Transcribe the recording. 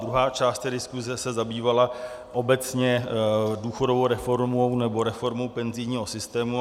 Druhá část diskuse se zabývala obecně důchodovou reformou, nebo reformou penzijního systému.